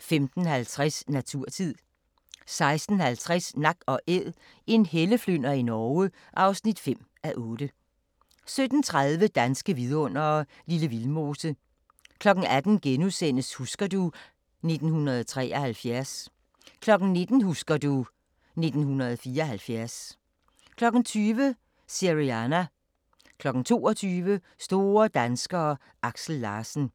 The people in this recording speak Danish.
15:50: Naturtid 16:50: Nak & Æd - En helleflynder i Norge (5:8) 17:30: Danske Vidundere: Lille Vildmose 18:00: Husker du ... 1973 * 19:00: Husker du ...1974 20:00: Syriana 22:00: Store danskere: Aksel Larsen